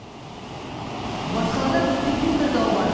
бас қалада бітпейтін бір дау бар